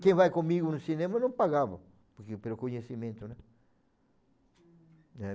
Quem vai comigo no cinema, eu não pagava, porque pelo conhecimento. Hm. Eh,